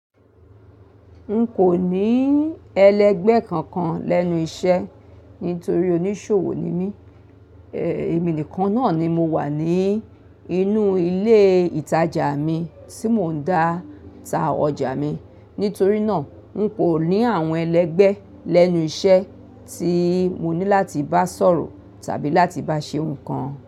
N kò ní ẹlẹgbẹ́ kankan lẹ́nu iṣẹ́ nítorí oníṣòwò ni mí. Ẹ, èmi nìkan náà ni mo wà ní inú ilé ìtajà mi tí mò ń dàta ọjà mi. Nítorí náà, n kò ní àwọn ẹlẹgbẹ́ lẹ́nu iṣẹ́ tí mo ní láti bá sọ̀rọ̀ tàbí láti bá ṣe nǹkan.